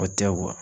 O tɛ